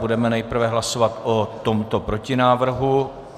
Budeme nejprve hlasovat o tomto protinávrhu.